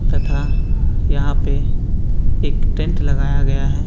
तथा यहाँ पे एक टेंट लगाया गया है।